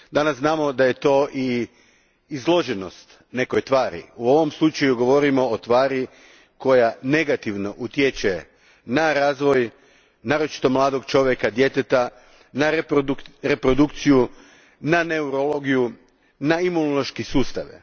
Danas znamo da je to i izloženost nekoj tvari. U ovom slučaju govorimo o tvari koja negativno utječe na razvoj naročito mladog čovjeka, djeteta, na reprodukciju, na neurologiju, na imunološke sustave.